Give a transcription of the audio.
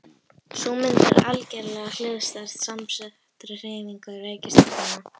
Sú mynd er algerlega hliðstæð samsettri hreyfingu reikistjarnanna.